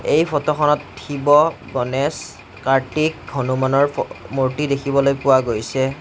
এই ফটোখনত শিৱ গণেশ কাৰ্তিক হনুমানৰ ফ অ মূৰ্তি দেখিবলৈ পোৱা গৈছে।